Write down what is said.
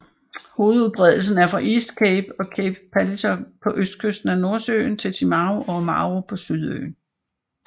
Hovedudbredelsen er fra East Cape og Cape Palliser på østkysten af Nordøen til Timaru og Oamaru på Sydøen